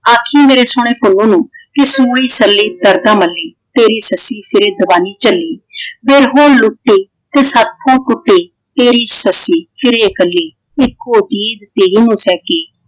ਆਖੀ ਮੇਰੇ ਸੋਹਣੇ ਪੁੰਨੁ ਨੂੰ ਕਿ ਸੂਈ ਸਲੀ ਤਰਕਾ ਮੱਲੀ। ਤੇਰੀ ਸੱਸੀ ਸਿਰੇ ਦਬਾਈ ਚੱਲੀ। ਵੇ ਹੁਣ ਲੁੱਟੇ ਤੇ ਸਾਥੋਂ ਕੁੱਟੇ ਤੇਰੀ ਸੱਸੀ ਫਿਰਏ ਇਕੱਲੀ। ਇੱਕੋ ਚੀਜ ਦੇ ਨਾ ਸਕੀ।